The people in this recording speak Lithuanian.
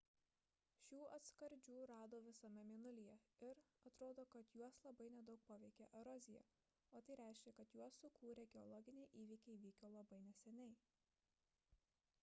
šių atskardžių rado visame mėnulyje ir atrodo kad juos labai nedaug paveikė erozija o tai reiškia kad juos sukūrę geologiniai įvykiai vyko labai neseniai